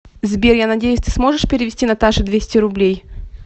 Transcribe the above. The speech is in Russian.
сбер я надеюсь ты сможешь перевести наташе двести рублей